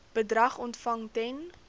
bedrag ontvang ten